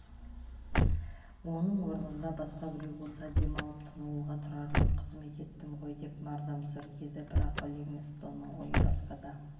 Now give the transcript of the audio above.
оның орнында басқа біреу болса демалып тынығуға тұрарлық қызмет еттім ғой деп мардамсыр еді бірақ ливингстонның ойы басқада